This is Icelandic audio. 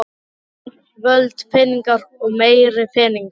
Lönd, völd, peningar og meiri peningar.